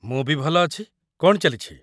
ମୁଁ ବି ଭଲ ଅଛି । କ'ଣ ଚାଲିଛି?